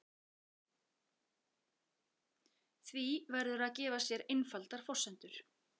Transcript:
Því verður að gefa sér einfaldar forsendur.